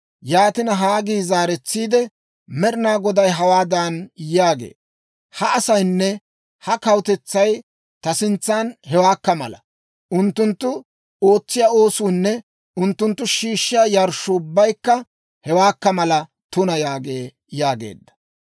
Yaatina, Haggii zaaretsiide, «Med'inaa Goday hawaadan yaagee; ‹Ha asaynne ha kawutetsay ta sintsan hewaakka mala; unttunttu ootsiyaa oosuunne unttunttu shiishshiyaa yarshshuu ubbaykka hewaakka mala tuna› yaagee» yaageedda.